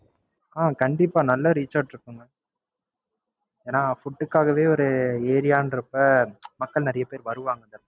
அஹ் கண்டிப்பா நல்லா Reach out இருக்குமுங்க. ஏனா, food க்காகவே ஒரு area றப்ப மக்கள் நிறைய பேர் வருவாங்க.